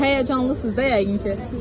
Həyəcanlısınız da yəqin ki?